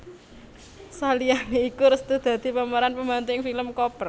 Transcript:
Saliyané iku Restu dadi pemeran pembantu ing film Koper